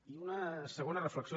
i una segona reflexió